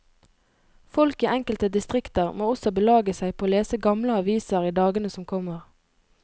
Folk i enkelte distrikter må også belage seg på å lese gamle aviser i dagene som kommer.